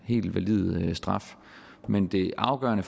helt valid straf men det afgørende